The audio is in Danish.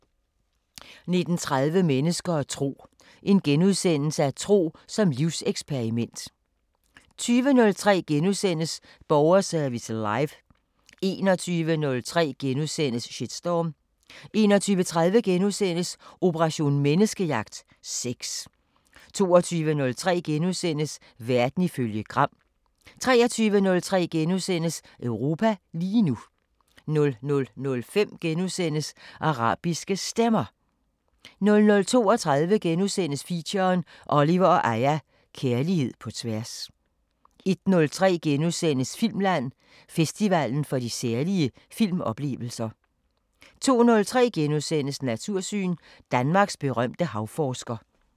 19:30: Mennesker og tro: Tro som livseksperiment * 20:03: Borgerservice Live * 21:03: Shitstorm * 21:30: Operation Menneskejagt: Sex * 22:03: Verden ifølge Gram * 23:03: Europa lige nu * 00:05: Arabiske Stemmer * 00:32: Feature: Oliver & Aya – Kærlighed på tværs * 01:03: Filmland: Festivalen for de særlige filmoplevelser * 02:03: Natursyn: Danmarks berømte havforsker *